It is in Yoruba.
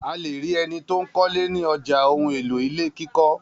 A le rí ẹni tó ń kọ́lé ní ọjà ohun-èlò ilé kíkọ́.